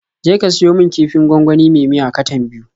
Je ka siyo min kifin gwangwani me miya katan biyu.